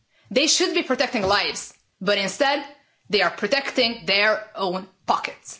They should be protecting lives but instead they are protecting their own pockets.